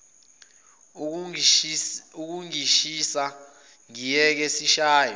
ukungishisa ngiyeke sishayane